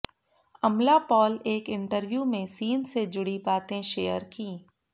अमला पॉल एक इंटरव्यू में सीन से जुड़ी बातें शेयर की